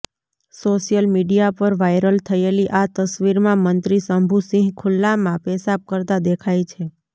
social media પર viral થયેલી આ તસવીરમાં મંત્રી શંભુ સિંહ ખુલ્લામાં પેશાબ કરતાં દેખાય છે